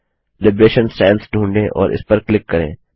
liberation sans ढूंढ़ें और इस पर क्लिक करें